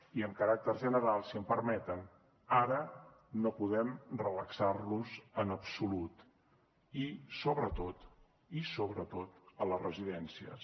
i amb caràcter general si em permeten ara no podem relaxar nos en absolut i sobretot i sobretot a les residències